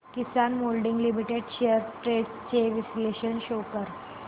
किसान moulding limited shares trends चे विश्लेषण show कर